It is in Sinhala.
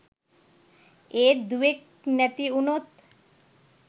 ඒත් දුවෙක් නැති උනොත්